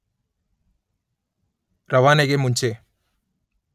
ರವಾನೆಗೆ ಮುಂಚೆ